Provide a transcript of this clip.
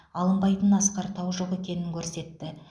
алынбайтын асқар тау жоқ екенін көрсетті